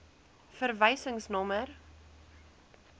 verwysingsnommer